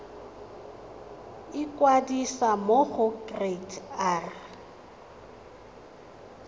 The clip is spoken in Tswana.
ikwadisa mo go kereite r